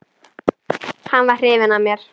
Hann var hrifinn af mér.